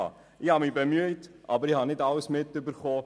Ich habe mich bemüht, aber ich habe nicht alles mitbekommen.